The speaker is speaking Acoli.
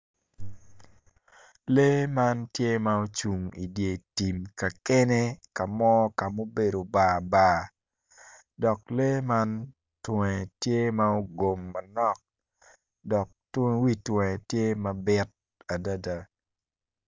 Lee man tye ma ocung i dyer tim ka kene ka mo ka mubedo bar bar dok lee man tunge tye ma ogom manok dok wi tunge tye mabit adada